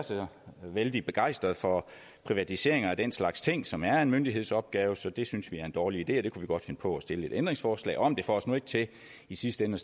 vældig begejstrede for privatiseringer af den slags ting som er en myndighedsopgave så det synes vi er en dårlig idé og det kunne vi godt finde på at stille et ændringsforslag om det får os nu ikke til i sidste ende